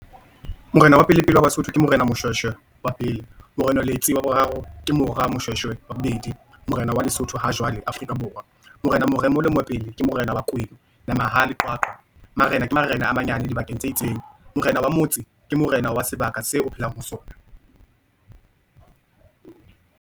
Morena wa pele wa basotho, ke morena Moshoeshoe wa pele, morena Letsie wa boraro, ke mora Moshoeshoe wa bobedi. Morena wa lesotho hajwale Afrika Borwa, morena Moremoholo Mopedi, ke morena wa kwena, Namahadi Qwaqwa. Marena ke marena a manyane dibakeng tse itseng. Morena wa motse, ke morena wa sebaka seo o phelang ho sona.